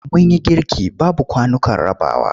Mun yi girki babu kwanukan rabawa.